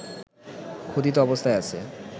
খোদিত অবস্থায় আছে